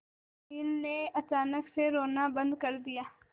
अनिल ने अचानक से रोना बंद कर दिया